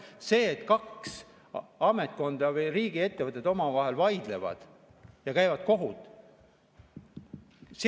See, et kaks ametkonda või riigiettevõtet omavahel vaidlevad ja käivad kohut ...